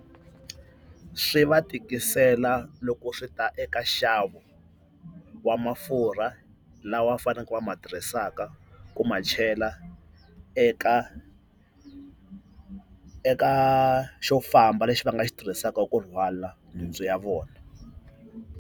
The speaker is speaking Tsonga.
Swi va tikisela loko swi ta eka nxavo wa mafurha lawa faneleke va ma tirhisaka ku ma chela eka xo eka xo famba lexi va nga xi tirhisaka ku rhwala nhundzu ya vona.